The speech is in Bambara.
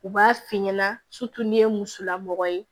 U b'a f'i ɲɛna ni ye musolamɔgɔ ye